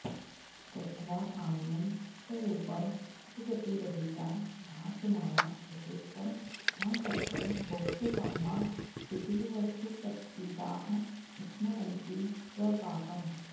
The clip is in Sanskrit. कृत्वा काम्यं च रूपं सुखगतिरहिता भाषमाणा यथेष्टं हा कष्टं भोक्तुकामा विधिवशपतिताः संस्मरन्ति स्वपाकम्